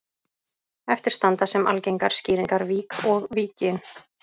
Eftir standa sem algengar skýringar vík og Víkin.